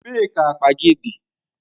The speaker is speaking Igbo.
Ebee ka akpa gị dị?